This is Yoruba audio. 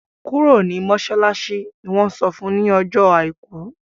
kúrò ní masalasi! ní wón sọfún ní Ọjọ́ aìkú!